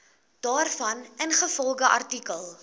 daarvan ingevolge artikel